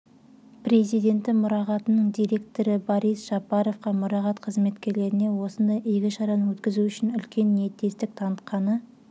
президенті мұрағатының директоры борис жапаровқа мұрағат қызметкерлеріне осындай игі шараны өткізу үшін үлкен ниеттестік танытқаны